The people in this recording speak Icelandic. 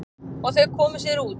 Og þau komu sér út.